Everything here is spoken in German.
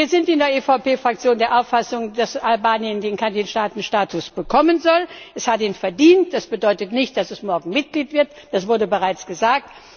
Wir sind in der EVP Fraktion der Auffassung, dass Albanien den Kandidatenstatus bekommen soll, es hat ihn verdient. Das bedeutet nicht, dass es morgen Mitglied wird, das wurde bereits gesagt.